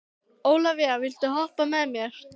Ólavía, viltu hoppa með mér?